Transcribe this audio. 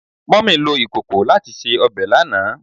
Mummy lo ikoko lati se obe lana